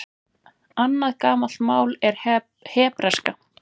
Annað gamalt mál er hebreska.